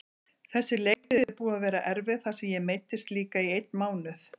Þessi leiktíð er búin að vera erfið þar sem ég meiddist líka í einn mánuð.